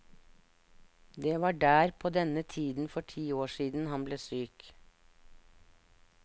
Det var der, på denne tiden for ti år siden, han ble syk.